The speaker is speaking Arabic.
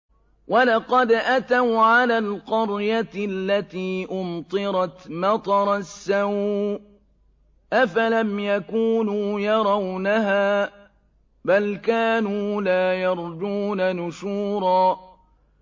وَلَقَدْ أَتَوْا عَلَى الْقَرْيَةِ الَّتِي أُمْطِرَتْ مَطَرَ السَّوْءِ ۚ أَفَلَمْ يَكُونُوا يَرَوْنَهَا ۚ بَلْ كَانُوا لَا يَرْجُونَ نُشُورًا